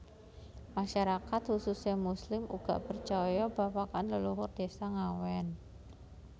Masyarakat khususe muslim uga percaya babakan leluhur désa Ngawen